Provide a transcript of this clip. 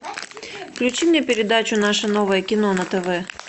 включи мне передачу наше новое кино на тв